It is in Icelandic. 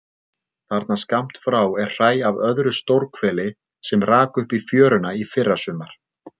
Þarna skammt frá er hræ af öðru stórhveli sem rak upp í fjöruna í fyrrasumar.